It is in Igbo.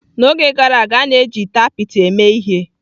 N'oge gara aga, a na-eji ite apịtị eme ihe.